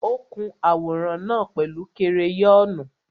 Ó kun àwòrán náà pẹ̀lú kereyọ́nù.